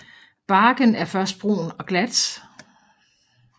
Barken er først brun og glat